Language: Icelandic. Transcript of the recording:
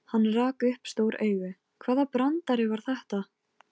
Ég meina af því mig hefur aldrei dreymt neitt.